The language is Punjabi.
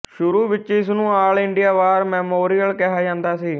ਸ਼ੁਰੂ ਵਿੱਚ ਇਸ ਨੂੰ ਆਲ ਇੰਡੀਆ ਵਾਰ ਮੈਮੋਰੀਅਲ ਕਿਹਾ ਜਾਂਦਾ ਸੀ